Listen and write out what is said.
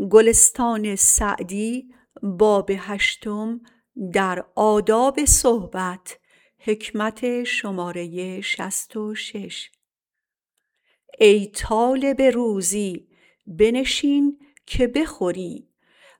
ای طالب روزی بنشین که بخوری